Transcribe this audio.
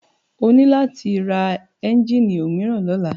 O ní láti ra ẹ́njíìnì òmíràn lọ́la.